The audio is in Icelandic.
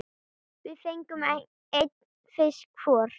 Við fengum einn fisk hvor.